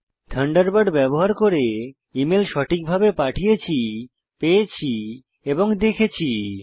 Thunderbird ব্যবহার করে email সঠিকভাবে পাঠিয়েছি পেয়েছি এবং দেখেছি